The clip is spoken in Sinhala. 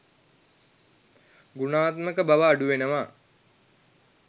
ගුණාත්මක බව අඩුවෙනවා.